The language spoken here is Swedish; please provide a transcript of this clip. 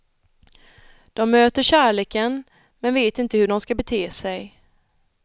De möter kärleken, men vet inte hur de skall bete sig.